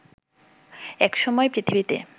একসময় পৃথিবীতে